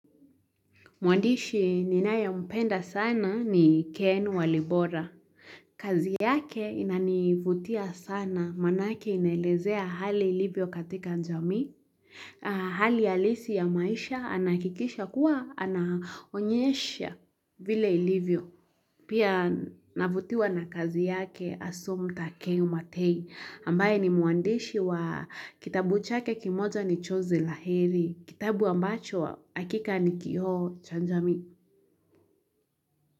Mwandishi ninayempenda sana ni ken walibora. Kazi yake inanivutia sana manake inelezea hali ilivyo katika jamii. Hali halisi ya maisha anahakikisha kuwa anaonyesha vile ilivyo. Pia navutiwa na kazi yake Asumpta Keu Matei. Ambaye ni mwandishi wa kitabu chake kimoja ni Chozi la Heri. Kitabu ambacho hakika ni kioo cha jamii.